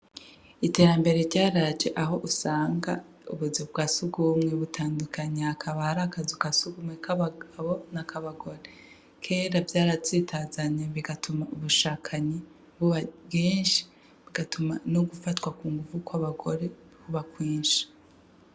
Iterambere ryaraje aho usanga ubuzu bwa sugumwe butandukanye hakaba hararakazu ka sugumwe k’abagabo n’akabagore, kera vyaratsitazanya bigatuma ubushakanyi buba bwinshi bigatuma no gufatwa kunguvu kw’abagore kuba kwinshi.